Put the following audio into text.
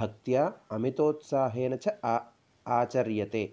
भक्त्या अमितोत्साहेन च आचर्यते